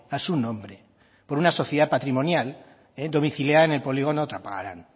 a su nombre por una sociedad patrimonial domiciliada en el polígono trapagaran